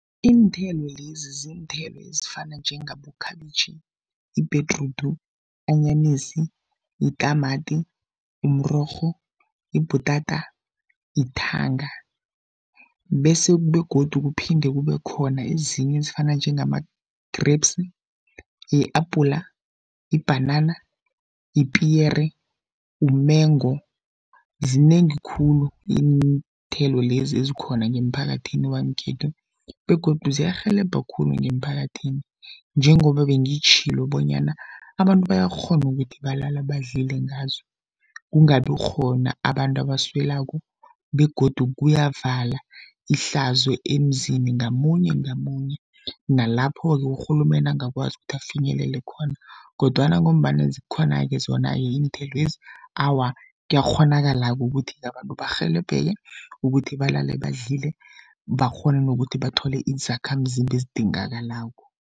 Iinthelo lezi, ziinthelo ezifana njengabokhabitjhi, yibhedrudu, anyanisi, yitamati, umrorho, yibhutata, yithanga bese begodu kuphinde kube khona ezinye ezifana njengama-grapes, yi-apula, ibhanana, yipiyere, umengo zinengi khulu iinthelo lezi ezikhona ngemphakathini wangekhethu. Begodu ziyarhelebha khulu ngemphakathini, njengoba bengitjhwilo bonyana abantu bayakghona ukuthi balala badlile ngazo, kungabi khona abantu abaswelako. Begodu kuyavala ihlazo emzini ngamunye, ngamunye nalapho-ke urhulumende angakwazi ukuthi afinyelele khona. Kodwana ngombana, zikhona-ke zona-ke iinthelwezi, awa kuyakghonakala-ke ukuthi abantu barhelebheke ukuthi balale badlile bakghone nokuthi bathole izakhamzimba ezidingakalako.